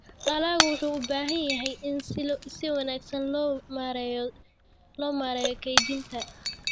Dalaggu wuxuu u baahan yahay in si wanaagsan loo maareeyo kaydinta.